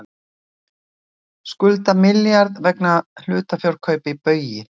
Skulda milljarð vegna hlutafjárkaupa í Baugi